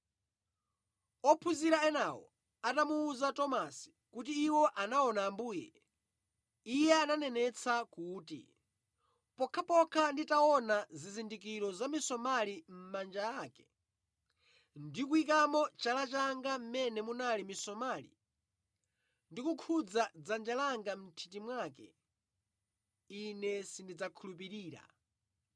Ophunzira enawo atamuwuza Tomasi kuti iwo anaona Ambuye, iye ananenetsa kuti, “Pokhapokha nditaona zizindikiro za misomali mʼmanja ake ndi kuyikamo chala changa mʼmene munali misomali ndi kukhudza dzanja langa mʼnthiti mwake, ine sindidzakhulupirira.”